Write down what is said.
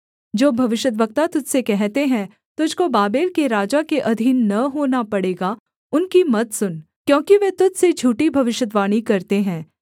जो भविष्यद्वक्ता तुझ से कहते हैं तुझको बाबेल के राजा के अधीन न होना पड़ेगा उनकी मत सुन क्योंकि वे तुझ से झूठी भविष्यद्वाणी करते हैं